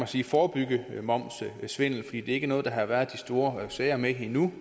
sige forebygge momssvindel ikke noget der har været de store sager med endnu